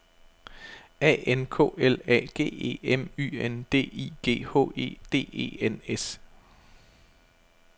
A N K L A G E M Y N D I G H E D E N S